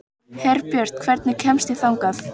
Herbjört, hvernig kemst ég þangað?